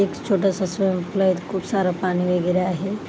एक छोटसं खूप सार पाणी वगैरे आहे.